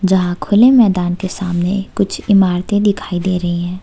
जहाँ खुले मैदान के सामने कुछ इमारतें दिखाई दे रही है।